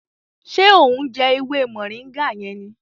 Ṣe o ń jẹ ewé moringa yẹn ní?